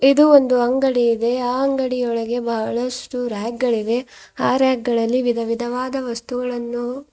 ಇದು ಒಂದು ಅಂಗಡಿ ಇದೆ ಆ ಅಂಗಡಿ ಒಳಗೆ ಬಹಳಷ್ಟು ರ್ಯಾಕ್ ಗಳಿವೆ ಆ ರ್ಯಾಕ್ ಗಳಲ್ಲಿ ವಿಧ ವಿಧವಾದ ವಸ್ತುಗಳನ್ನು --